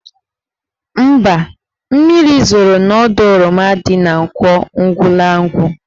Mba, mmiri zoro n'ọdọ oroma dị n' Nkwọ Ugwulangwu.